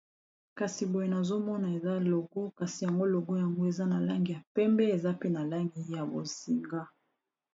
kasi boye nazomona eza logo kasi yango logo yango eza na langi ya pembe eza pe na langi ya bozinga